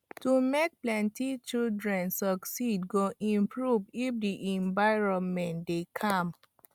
to make plenty children success go improve if the environment dey calm